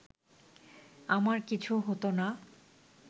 আমার কিছু হতো না